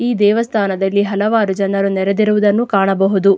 ಈ ದೇವಸ್ಥಾನದಲ್ಲಿ ಹಲವಾರು ಜನರು ನೆರೆದಿರುವುದನ್ನು ನಾವು ಕಾಣಬಹುದು.